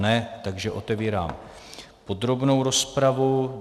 Ne, takže otevírám podrobnou rozpravu.